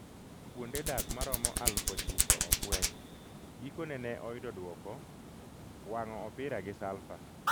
kuonde dak maromo aluf ochiko ofweny. Gikone ne oyudo duoko: wang’o opira gi Salfa